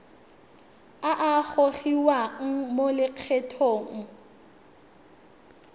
a a gogiwang mo lokgethong